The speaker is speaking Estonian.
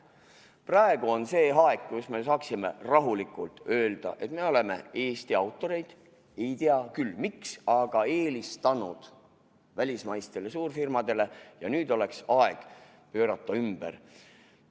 Praegu on see aeg, kus me saaksime rahulikult öelda, et me oleme Eesti autoreid – ei tea küll, miks – eelistanud välismaistele suurfirmadele ja nüüd oleks aeg pöörata ümber.